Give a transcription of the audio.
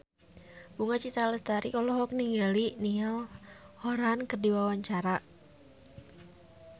Bunga Citra Lestari olohok ningali Niall Horran keur diwawancara